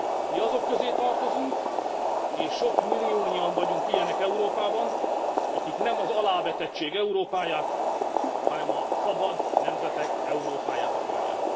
Mi azok közé tartozunk és sok milliónyian vagyunk így Európában akik nem az alávetettség Európáját, hanem a szabad nemzetek Európáját akarják.